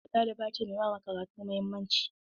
Blkisu ɗaliba ce mai ba karatu mahimmanci.